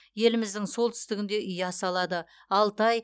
еліміздің солтүстігінде ұя салады алтай